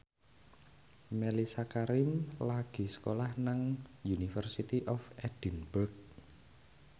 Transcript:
Mellisa Karim lagi sekolah nang University of Edinburgh